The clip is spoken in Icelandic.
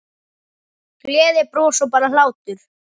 Gleði, bros og bara hlátur.